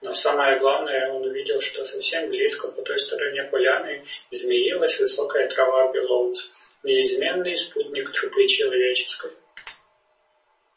но самое главное он увидел что совсем близко по той стороне поляны змеилась высокая трава белоус неизменный спутник тропы человеческой